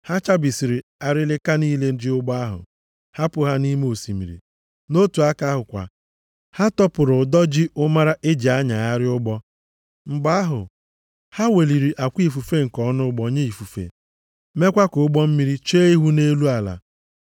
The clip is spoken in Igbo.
Ha chabisiri arịlịka niile ji ụgbọ ahụ, hapụ ha nʼime osimiri. Otu aka ahụkwa, ha tọpụrụ ụdọ ji ụmara e ji anyagharị ụgbọ. Mgbe ahụ, ha weliri akwa ifufe nke ọnụ ụgbọ nye ifufe, mekwa ka ụgbọ mmiri chee ihu nʼelu ala.